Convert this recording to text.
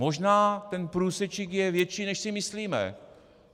Možná ten průsečík je větší, než si myslíme.